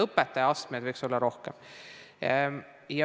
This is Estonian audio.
Õpetajal võiks astmeid olla rohkem.